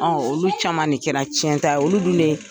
olu caman de kɛra tiɲɛ ta ye olu dun